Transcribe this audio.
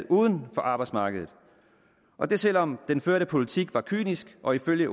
uden for arbejdsmarkedet og det selv om den førte politik var kynisk og ifølge